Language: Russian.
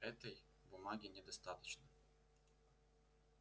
этой бумаги недостаточно